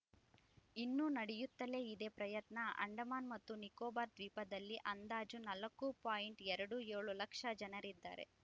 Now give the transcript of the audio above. ಇನ್ನೂ ನಡೆಯುತ್ತಲೇ ಇದೆ ಪ್ರಯತ್ನ ಅಂಡಮಾನ್‌ ಮತ್ತು ನಿಕೋಬಾರ್‌ ದ್ವೀಪದಲ್ಲಿ ಅಂದಾಜು ನಾಲ್ಕು ಪಾಯಿಂಟ್ ಎರಡು ಏಳು ಲಕ್ಷ ಜನರಿದ್ದಾರೆ